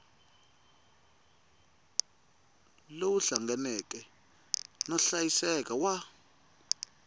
lowu hlanganeke no hlayiseka wa